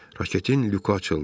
Raketin lyuku açıldı.